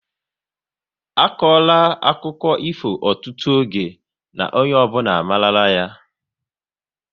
A kora akụkọ ifo ọtụtụ oge na onye ọbụla amarula ya